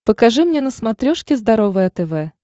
покажи мне на смотрешке здоровое тв